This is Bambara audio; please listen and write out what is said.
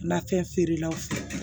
Nafɛn feerelaw fɛ